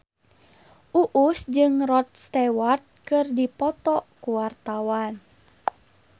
Uus jeung Rod Stewart keur dipoto ku wartawan